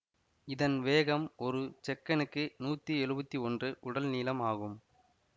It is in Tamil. இதன் வேகம் ஒரு செக்கனுக்கு நூத்தி எழுவத்தி ஒன்று உடல் நீளம் ஆகும்